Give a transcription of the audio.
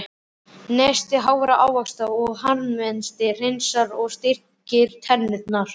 Neysla hrárra ávaxta og harðmetis hreinsar og styrkir tennurnar.